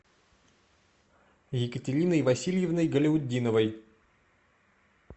екатериной васильевной галяутдиновой